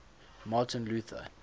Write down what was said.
martin luther